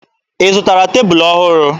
Ị zụtara tebulu ọhụrụ?